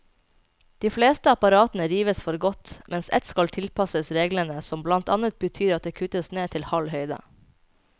De fleste apparatene rives for godt, mens ett skal tilpasses reglene, som blant annet betyr at det kuttes ned til halv høyde.